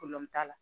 t'a la